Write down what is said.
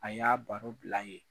A y'a baro bila yen.